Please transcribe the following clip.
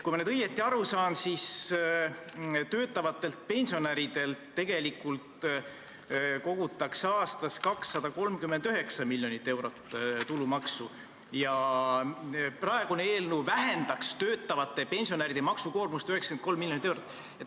Kui ma õigesti aru saan, siis töötavatelt pensionäridelt kogutakse aastas 239 miljonit eurot tulumaksu ja eelnõu vähendaks töötavate pensionäride maksukoormust 93 miljonit eurot.